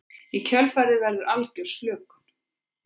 Í kjölfarið verður algjör slökun.